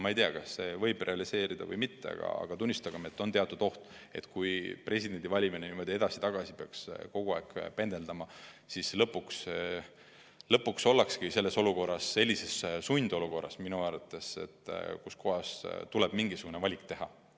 Ma ei tea, kas see võib realiseeruda või mitte, aga tunnistagem, et on teatud oht, et kui presidendi valimine niimoodi edasi-tagasi peaks kogu aeg pendeldama, siis lõpuks ollaksegi selles olukorras, minu arvates sundolukorras, kus tuleb mingisugune valik teha.